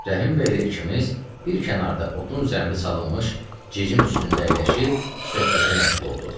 Rəhimbəy ilə ikimiz bir kənarda otun üzərində salınmış cicim üstündə əyləşib söhbətə məşğul olduq.